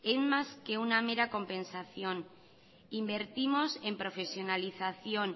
es más que una mera compensación invertimos en profesionalización